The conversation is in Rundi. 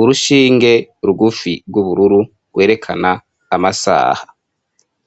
urushinge rugufi rw'ubururu rwerekana amasaha.